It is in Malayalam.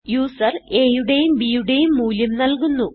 യൂസർ a യുടെയും b യുടെയും മൂല്യം നല്കുന്നു